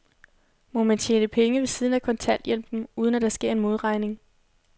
Må man tjene penge ved siden af kontanthjælpen, uden at der sker en modregning?